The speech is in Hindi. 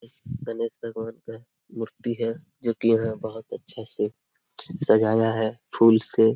गणेश भगवान का मूर्ति है जो की यहां बहुत अच्छा से सजाया है फूल से।